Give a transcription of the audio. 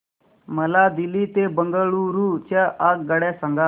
मला दिल्ली ते बंगळूरू च्या आगगाडया सांगा